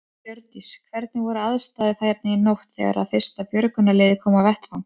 Hjördís: Hvernig voru aðstæður hérna í nótt þegar að fyrsta björgunarlið kom á vettvang?